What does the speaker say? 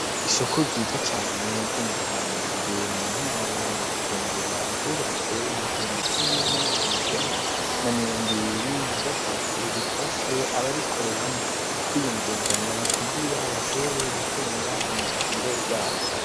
Isoku ryiza cane ryo mu kamenge mu ntara ya Bujumbura, ryubatswe mu gihumbi kimwe n'amajana icenda na mirongo ibiri na gatatu, rifashe abarikoreramwo kwiyungunganya, kugira bashobore gutunga imiryango yabo.